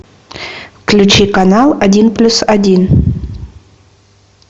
включи канал один плюс один